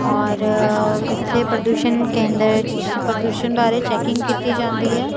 ਔਰ ਇੱਥੇ ਪ੍ਰਦੂਸ਼ਨ ਕੇਂਦਰ ਚ ਪ੍ਰਦੂਸ਼ਨ ਬਾਰੇ ਚੈਕਿੰਗ ਕੀਤੀ ਜਾਂਦੀ ਹੈ।